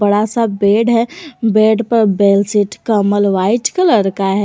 बड़ासा बेड है बेड पर बेड शीट कम्बल व्हाइट कलर का है।